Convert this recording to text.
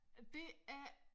Det er